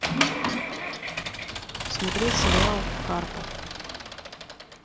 смотреть сериал карпов